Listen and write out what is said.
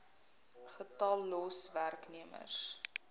getal los werknemers